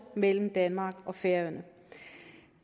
mellem danmark og færøerne